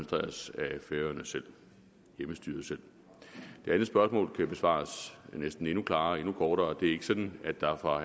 færøernes hjemmestyre selv det andet spørgsmål kan besvares næsten endnu klarere og endnu kortere det er ikke sådan at der fra